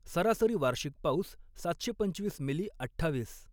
सरासरी वार्षिक पाऊस सातशे पंचवीस मिली अठ्ठावीस.